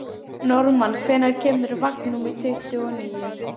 Normann, hvenær kemur vagn númer tuttugu og níu?